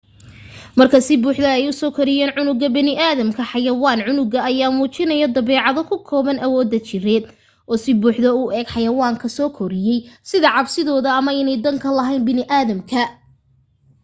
marka si buuxdo ay usoo koriyaan cunuga baniiaadamka xayawaan cunuga ayaa muujiyo dabeecado ku kooban awoodaha jireed oo si buuxdo u eg xayawaanka soo koriyay sida cabsidooda ama inay dan ka lahayn baniaadamka